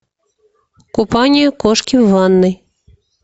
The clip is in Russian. купание кошки в ванной